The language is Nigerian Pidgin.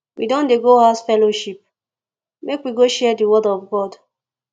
we don dey go house fellowship make we go share di word of god